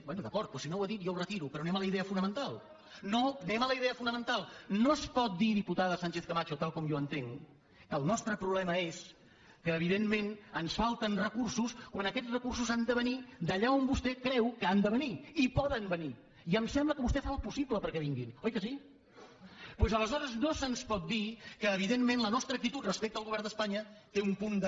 bé d’acord doncs si no ho ha dit jo ho retiro però anem a la idea fonamental anem a la idea fonamental no es pot dir diputada sánchez camacho tal com jo entenc que el nostre problema és que evidentment ens falten recursos quan aquests recursos han de venir d’allà on vostè creu que han de venir i poden venir i em sembla que vostè fa el possible perquè vinguin oi que sí doncs aleshores no se’ns pot dir que evidentment la nostra actitud respecte al govern d’espanya té un punt de